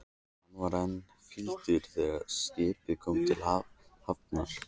Hann var enn fýldur þegar skipið kom til hafnar.